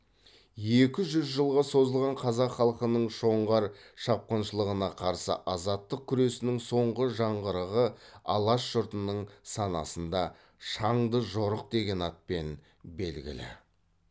екі жүз жылға созылған қазақ халқының жоңғар шапқыншылығына қарсы азаттық күресінің соңғы жаңғырығы алаш жұртының санасында шаңды жорық деген атпен белгілі